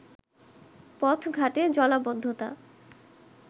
পথঘাটে জলাবদ্ধতা